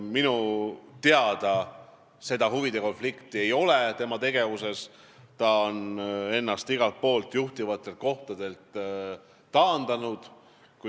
Minu teada seda huvide konflikti tema tegevuses ei ole, ta on ennast kõigilt juhtivatelt kohtadelt taandanud.